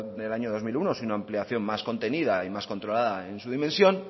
del año dos mil uno sino ampliación más contenida y más controlada en su dimensión